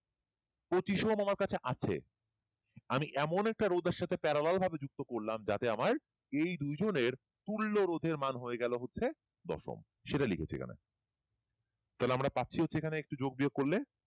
পচিশ ওহম আমার কাছে আমি একটা রোধের সাথে parallel ভাবে যুক্ত করলাম যাতে আমার এই দুই জনের তুল্য রোধের মান হয়ে গেলো হচ্ছে দশম সেটা লিখছি এখানে তাহলে আমরা পাচ্ছি হচ্ছে যোগ বিয়োগ করলে